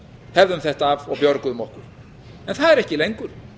hefðum þetta af og björguðum okkur en það er ekki lengur